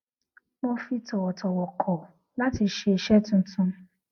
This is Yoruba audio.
mo fi tòwòtòwò kò láti ṣe iṣé tuntun